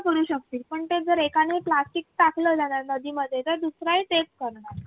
करू शकतील पण ते जर एकाने plastic टाकलं त्या नदीमध्ये तर दुसराही तेच करणार